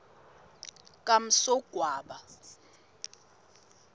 kamsogwaba